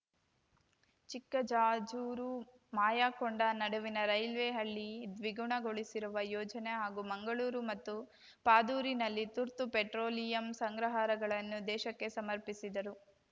ಚಿಕ್ಕಜಾಜೂರು ಮಾಯಕೊಂಡ ನಡುವಿನ ರೈಲ್ವೆ ಹಳಿ ದ್ವಿಗುಣಗೊಳಿಸಿರುವ ಯೋಜನೆ ಹಾಗೂ ಮಂಗಳೂರು ಮತ್ತು ಪಾದೂರಿನಲ್ಲಿ ತುರ್ತು ಪೆಟ್ರೋಲಿಯಂ ಸಂಗ್ರಹಾರಗಳನ್ನು ದೇಶಕ್ಕೆ ಸಮರ್ಪಿಸಿದರು